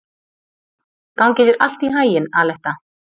Gangi þér allt í haginn, Aletta.